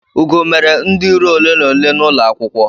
Ugo mere ndi iro ole na ole n'ulo akwukwo